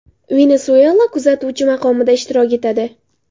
Venesuyela kuzatuvchi maqomida ishtirok etadi.